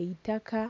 eitaka.